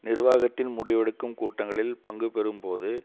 நிர்வாகத்தின் முடிவெடுக்கும் கூட்டங்களில் பங்கு பெறும்போது